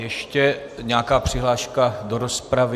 Ještě nějaká přihláška do rozpravy?